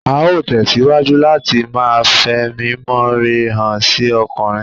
Á ó tẹ̀síwájú láti ma fẹ̀mímọre hàn sí ọkùnrin